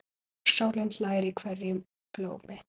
Sólin hlær í hverju blómi.